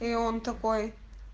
и он такой